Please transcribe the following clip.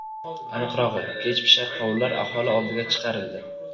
Aniqrog‘i, kechpishar qovunlar aholi oldiga chiqarildi.